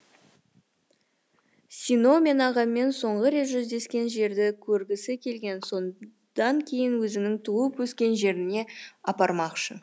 сино мен ағаммен соңғы рет жүздескен жерді көргісі келген содан кейін өзінің туып өскен жеріне апармақшы